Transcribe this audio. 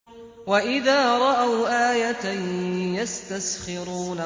وَإِذَا رَأَوْا آيَةً يَسْتَسْخِرُونَ